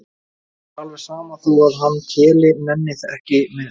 Mér er alveg sama þó að hann Keli nenni ekki með.